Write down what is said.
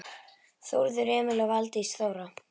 Þórður Emil og Valdís Þóra.